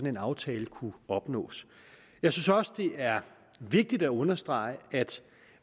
en aftale kunne opnås jeg synes også at det er vigtigt at understrege at